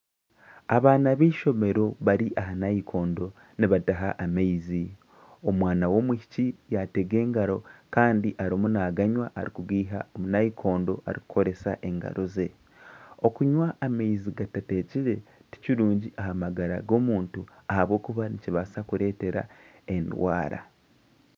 Abaana bishomero bari aha nayikondo nibataha amaizi. Omwana w'omwishiki yatega engaro kandi arimu naganywa arikugiiha omu nayikondo arikukoresa engaro ze. Okunywa amaizi gatatekyire tikirungi aha magara g'omuntu ahabw'okuba nikibaasa kureeta endwara endwara.